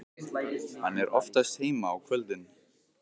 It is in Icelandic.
Hann er oftast heima á kvöldin.